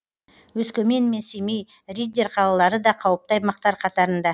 өскемен мен семей риддер қалалары да қауіпті аймақтар қатарында